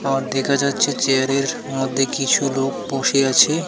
আর দেখা যাচ্ছে চেয়ারের মধ্যে কিছু লোক বসে আছে.